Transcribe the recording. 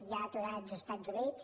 hi ha aturats als estats units